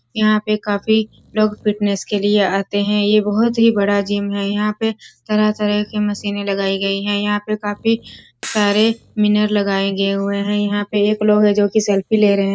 यहाँ पे काफी लोग फिटनेस के लिए आते हैं यह बहुत ही बड़ा जिम हैं यहाँ पे तरह-तरह के मशीनें लगायी गई हैं यहाँ पे काफी सारे विनर लगाए गए हुए हैं यहाँ पे एक लोग हैं जो की सेल्फी ले रहे हैं।